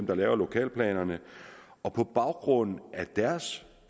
der laver lokalplanerne og på baggrund af deres